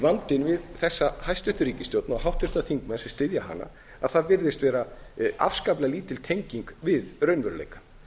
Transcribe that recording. vandinn við þessa hæstvirt ríkisstjórn og háttvirtir þingmenn sem styðja hana að það virðist vera afskaplega lítil tenging við raunveruleikann